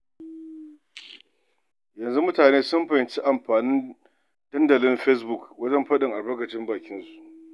Yanzu mutane sun fahimci amfani da dandalin Facebook wajen faɗin albarkacin baki.